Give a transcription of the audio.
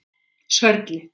Sörli